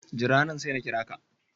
Jira nan, sai na kira ka